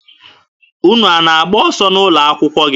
Unu a na-agba ọsọ n'ụlọ akwụkwọ gị?